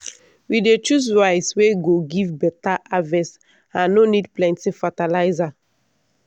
we dey choose rice wey go give better harvest and no need plenty fertiliser.